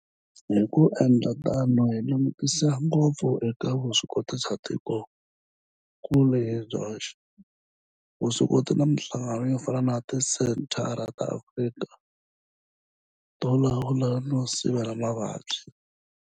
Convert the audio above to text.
Hi ku endla tano hi langutisa ngopfu eka vuswikoti bya tikokulu hi byoxe, vuswikoti na mihlangano yo fana na Tisenthara ta Afrika to Lawula no Sivela Mavabyi, Afrika CDC.